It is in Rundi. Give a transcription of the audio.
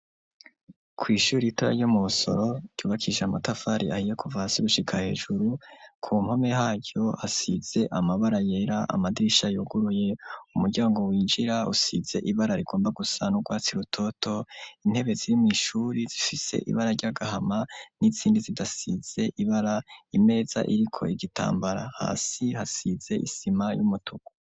Kw'ishuri ritoyi ryo mubusoro ryubakishije amatafari ahiye kuva hasi gushika hejuru, ku mpome haryo hasize amabara yera, amadirisha yoguruye, umuryango winjira usize ibara rigomba gusa n'urwatsi rutoto, intebe ziri mw'ishuri zifise ibara ry'agahama n'izindi zidasize ibara, imeza iriko igitambara hasi hasize isima y'umutuku.